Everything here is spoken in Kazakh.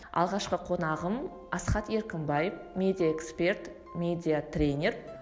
алғашқы қонағым асхат еркімбаев медиаэксперт медиатренер